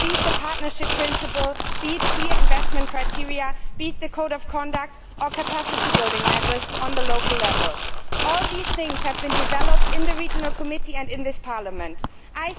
Be it the partnership principle, be it clear investment criteria, be it the code of conduct or capacity building measures on the local level, all these things have been developed in the Committee on Regional Development and in this Parliament.